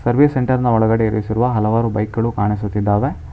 Service centre ನ ಒಳಗಡೆ ಇರಿಸಿರುವ ಹಲವಾರು ಬೈಕ್ ಗಳು ಕಾಣಿಸುತ್ತಿದ್ದಾವೆ.